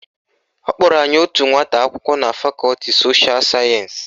Ọ kpọrọ anyị otu nwata akwụkwọ na fakọti sosha sayensị